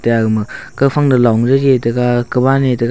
eye agama kawfang to long jehi taiga kawna e tega.